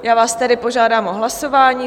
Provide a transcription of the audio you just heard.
Já vás tedy požádám o hlasování.